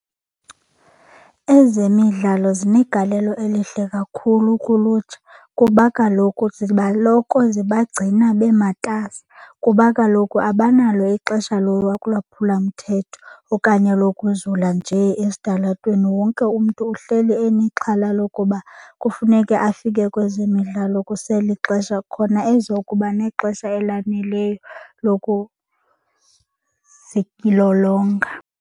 Ezemidlalo zinegalelo elihle kakhulu kulutsha kuba kaloku ziba loko zibagcina bematasa kuba kaloku abanalo ixesha lolwaphulo mthetho okanye lokuzula nje esitalatweni. Wonke umntu uhleli enexhala lokuba kufuneke afike kwezemidlalo kuselixesha khona ezokuba nexesha elaneleyo lokuzilolonga.